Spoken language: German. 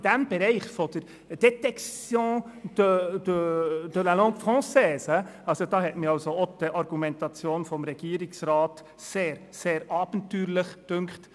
Im Bereich der «détection de la langue française» habe ich auch die Argumentation des Regierungsrats sehr, sehr abenteuerlich gefunden.